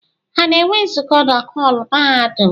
Ha na-enwe nzukọ na họọlụ mahadum?